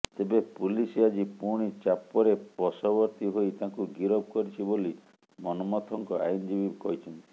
ତେବେ ପୁଲିସ ଆଜି ପୁଣି ଚାପରେ ବଶବର୍ତୀ ହୋଇ ତାଙ୍କୁ ଗିରଫ କରିଛି ବୋଲି ମନ୍ମଥଙ୍କ ଆଇନଜୀବୀ କହିଛନ୍ତି